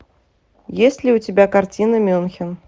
есть ли у тебя картина мюнхен